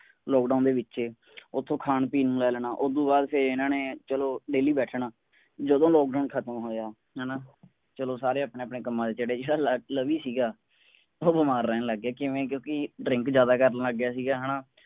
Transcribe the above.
lockdown ਦੇ ਵਿੱਚ ਉੱਥੋਂ ਖਾਣ ਪੀਣ ਨੂੰ ਲੈ ਲੈਣਾ ਉਸਤੋਂ ਬਾਅਦ ਫੇਰ ਇਨ੍ਹਾਂ ਨੇ ਚਲੋ daily ਬੈਠਣਾ ਜਦੋਂ lockdown ਖਤਮ ਹੋਇਆ ਹੈ ਨਾ ਚਲੋ ਸਾਰੇ ਆਪਣੇ ਆਪਣੇ ਕੰਮਾਂ ਤੇ ਚੜੇ। ਜਿਹੜਾ ਲੈ`ਲਵੀ ਸੀਗਾ ਉਹ ਬਿਮਾਰ ਰਹਿਣ ਲੱਗ ਗਿਆ ਕਿਵੇਂ ਕਿਉਂਕਿ drink ਜ਼ਿਆਦਾ ਕਰਨ ਲੱਗ ਗਿਆ ਸੀ ਹੈ ਨਾ।